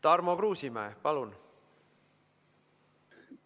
Tarmo Kruusimäe, palun!